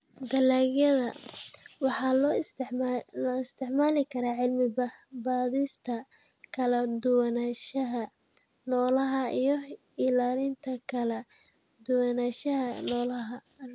Dalagga waxa loo isticmaali karaa cilmi-baadhista kala duwanaanshaha noolaha iyo ilaalinta kala duwanaanshaha noolaha.